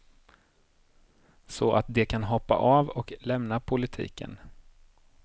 Så att de kan hoppa av och lämna politiken.